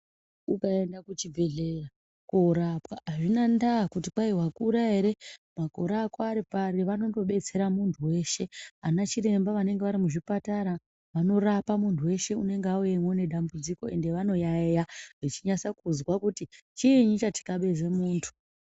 Ukaenda kuchibhedhleya koorapwa, azvina ndaa kuti kwai wakura ere makore ako ari pari, vanondobetsera muntu weshe. Anachiremba vanenge vari muchipatara, vanondorapa muntu weshe, unenge wauyeyo nedambudziko, ende vanoyaiya, vachinyasa kuzwa kuti chiini chathikabeze muntu.